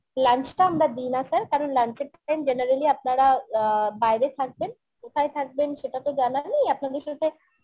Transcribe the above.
lunch টা আমরা দিনা sir কারণ lunch এর time generally আপনারা অ্যাঁ বাইরে থাকবেন কোথায় থাকবেন সেটা তো জানা নেই আপনাদের সাথে